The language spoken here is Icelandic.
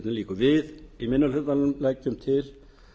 við í minni hlutanum leggjum til